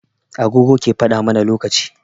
Agogo ke faɗa mana lokaci.